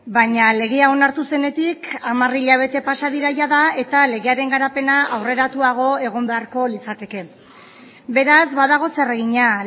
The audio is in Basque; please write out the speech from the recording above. baina legea onartu zenetik hamar hilabete pasa dira jada eta legearen garapena aurreratuago egon beharko litzateke beraz badago zer egina